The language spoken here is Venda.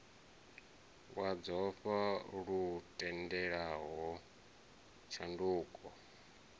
wa dzofha lu tendelaho tshanduko